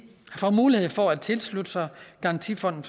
får mulighed for at tilslutte sig garantifonden